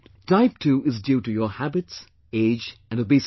Type 2 is due to your habits, age and obesity